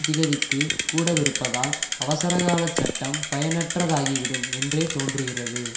திகதிக்கு கூடவிருப்பதால் அவசரகால சட்டம் பயனற்றதாகிவிடும் என்றே தோன்றுகிறது